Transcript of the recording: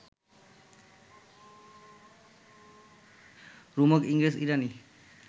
রোমক ইংরেজ ইরাণী